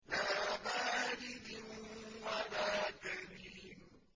لَّا بَارِدٍ وَلَا كَرِيمٍ